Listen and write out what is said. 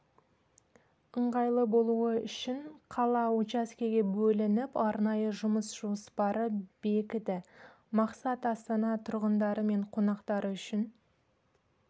ыңғайлы болуы үшін қала учаскеге бөлініп арнайы жұмыс жоспары бекіді мақсат астана тұрғындары мен қонақтар үшін